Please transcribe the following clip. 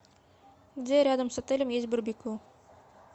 где рядом с отелем есть барбекю